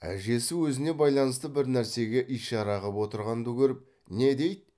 әжесі өзіне байланысты бір нәрсеге ишара қып отырғанды көріп не дейді